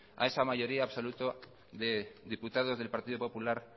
a esa mayoría absoluta de diputados del partido popular